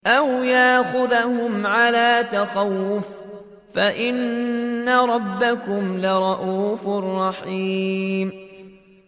أَوْ يَأْخُذَهُمْ عَلَىٰ تَخَوُّفٍ فَإِنَّ رَبَّكُمْ لَرَءُوفٌ رَّحِيمٌ